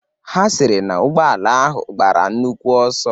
Ha sịrị na ụgbọala ahụ gbara nnukwu ọsọ.